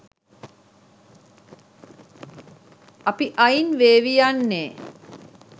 අපි අයින් වෙවී යන්නේ.